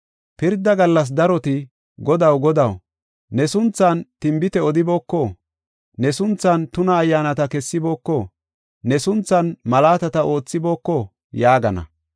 Pirda gallas daroti, ‘Godaw, Godaw, ne sunthan tinbite odibooko? Ne sunthan tuna ayyaanata kessibooko? Ne sunthan malaatata oothibooko?’ yaagana.